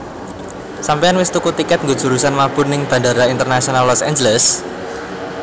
Sampeyan wis tuku tiket nggo jurusan mabur ning Bandara Internasional Los Angeles?